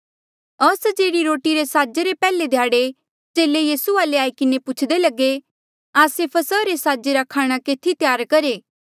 अस्जेह्ड़ी रोटी रे साजे रे पैहले ध्याड़े चेले यीसू वाले आई किन्हें पुछदे लगे आस्से फसहा रे साजे रा खाणा केथी त्यार करहे